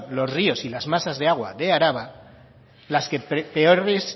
los ríos y las masas de agua de araba las que peores